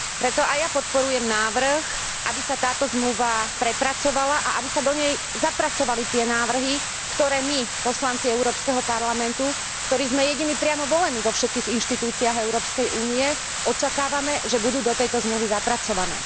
Preto aj ja podporujem návrh, aby sa táto zmluva prepracovala a aby sa do nej zapracovali tie návrhy, ktoré my, poslanci Európskeho parlamentu, ktorí sme jediní priamo volení vo všetkých inštitúciách Európskej únie, očakávame, že budú do tejto zmluvy zapracované.